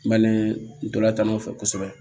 N balima ntolatanw fɛ kosɛbɛ